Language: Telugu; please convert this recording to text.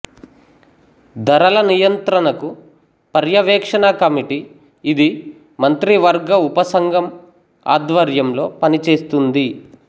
దరల నియంత్రణకు పర్యవేక్షణ కమిటీ ఇది మంత్రివర్గ ఉపసంఘం ఆధ్వర్యంలో పనిచేస్తుంది